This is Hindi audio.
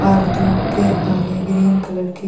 और धुप के आगे ग्रीन कलर की --